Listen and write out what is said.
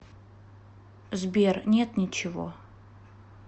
сбер нет ничего